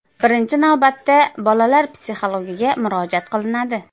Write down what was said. Birinchi navbatda bolalar psixologiga murojaat qilinadi.